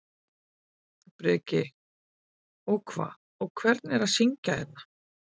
Breki: Og hvað, og hvernig er að syngja hérna?